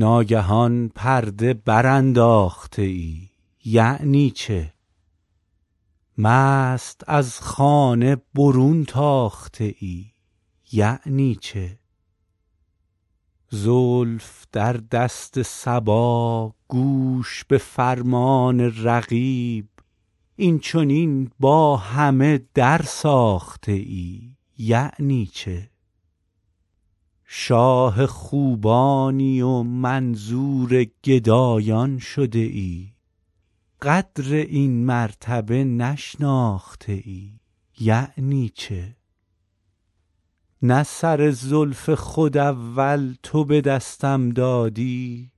ناگهان پرده برانداخته ای یعنی چه مست از خانه برون تاخته ای یعنی چه زلف در دست صبا گوش به فرمان رقیب این چنین با همه درساخته ای یعنی چه شاه خوبانی و منظور گدایان شده ای قدر این مرتبه نشناخته ای یعنی چه نه سر زلف خود اول تو به دستم دادی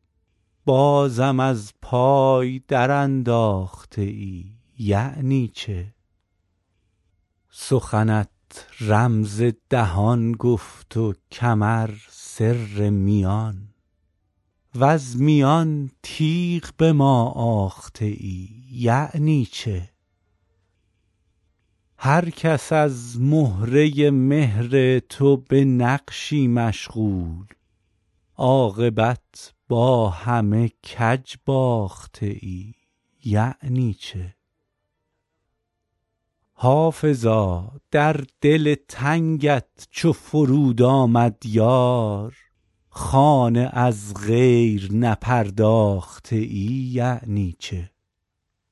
بازم از پای درانداخته ای یعنی چه سخنت رمز دهان گفت و کمر سر میان وز میان تیغ به ما آخته ای یعنی چه هر کس از مهره مهر تو به نقشی مشغول عاقبت با همه کج باخته ای یعنی چه حافظا در دل تنگت چو فرود آمد یار خانه از غیر نپرداخته ای یعنی چه